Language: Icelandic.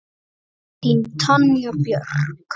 Þín, Tanja Björk.